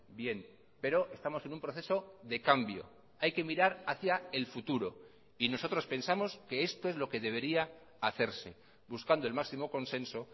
bien pero estamos en un proceso de cambio hay que mirar hacia el futuro y nosotros pensamos que esto es lo que debería hacerse buscando el máximo consenso